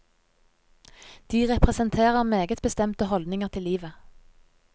De representerer meget bestemte holdninger til livet.